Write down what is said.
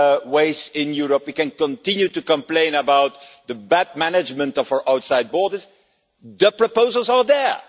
ways in Europe, and we can continue to complain about the bad management of our outside borders, but the proposals are there.